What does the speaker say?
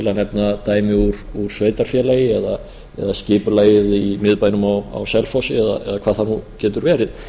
að nefna dæmi úr sveitarfélagi eða skipulagið í miðbænum á selfossi eða hvað það nú getur verið